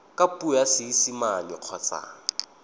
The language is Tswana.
ka puo ya seesimane kgotsa